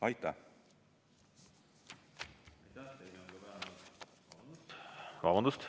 Aitäh!